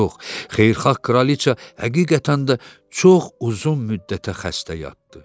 Yox, xeyirxah kraliça həqiqətən də çox uzun müddətə xəstə yatdı.